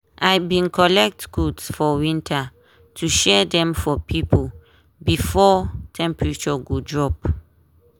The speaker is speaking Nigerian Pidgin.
i bin collect coat for winter to share dem for pipo before temperature go drop.